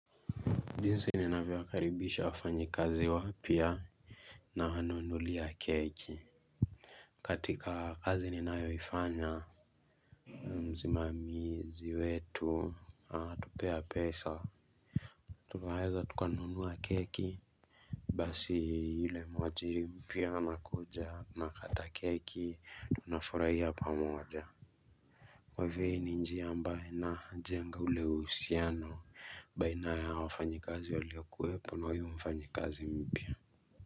Jinsi ninavyo karibisha wafanyi kazi wapia nawananulia keki katika kazi ninayo ifanya Mzimamizi wetu tupea pesa tuheza tukanunuwa keki Basi yule mwajiri mpia nakuja nakata keki tunafuraiya pamoja Kwa hivo ni njiya mbaina jenga ule usiano baina ya wafanyi kazi waleokuhepo na huyu mfanyi kazi mpia.